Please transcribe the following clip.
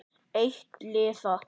Eitt liða.